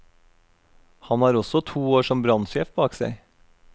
Han har også to år som brannsjef bak seg.